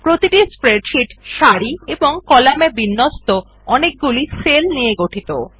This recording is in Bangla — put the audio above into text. প্রতিটি স্প্রেডশীট সারি এবং কলামে বিন্যস্ত অনেকগুলি সেল নিয়ে গঠিত